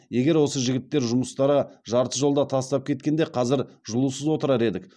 егер осы жігіттер жұмыстары жарты жолдан тастап кеткенде қазір жылусыз отырар едік